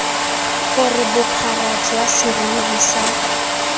gore bophara jwa serori sa